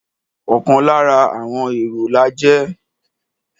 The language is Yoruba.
Ọ̀kan lára àọn èrò la jẹ́.